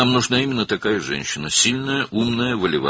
Bizə məhz belə bir qadın lazımdır: güclü, ağıllı, iradəli.